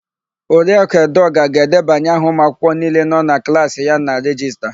Oriakụ Edeọga ga-edebanye aha ụmụakwụkwọ niile nọ na klaasị ya na rejista.